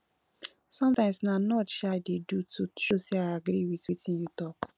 sometimes na nod um i dey do to show sey i agree wit wetin you talk